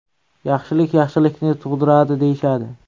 Yaxshilik yaxshilikni tug‘diradi, deyishadi.